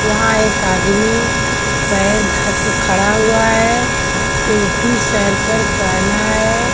वहाँ एक आदमी पैर धअ के खड़ा हुआ है टोपी सर पर पहना है।